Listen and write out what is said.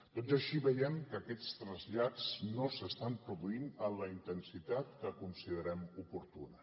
tot i així veiem que aquests trasllats no s’estan produint amb la intensitat que considerem oportuna